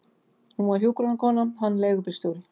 Hún var hjúkrunarkona, hann leigubílstjóri.